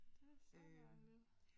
Det er så dejligt